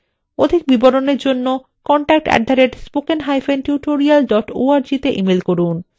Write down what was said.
অধিক বিবরণের জন্য contact @spokentutorial org তে ইমেল করুন